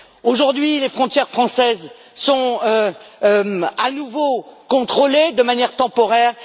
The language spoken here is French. Aujourd'hui, les frontières françaises sont à nouveau contrôlées de manière temporaire.